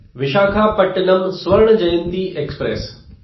Visakhapatnam Swarna Jayanti express